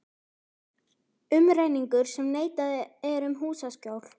Umrenningur sem neitað er um húsaskjól.